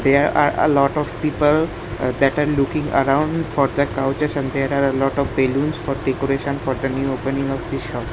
there are a lot of people uh that are looking around for the couches and there are a lot of balloons for decoration for the new opening of the shop.